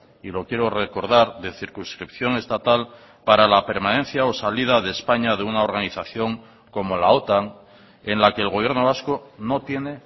y lo quiero recordar de circunscripción estatal para la permanencia o salida de españa de una organización como la otan en la que el gobierno vasco no tiene